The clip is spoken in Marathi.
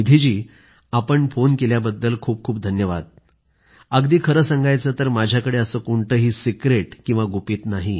निधी जी आपण फोन केल्याबद्दल खूपखूप धन्यवाद अगदी खरं सांगायचं तर माझ्याकडं असं कोणतंही सिक्रेट किंवा गुपित नाही